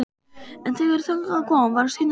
En þegar þangað kom var Steinunn ekki heima.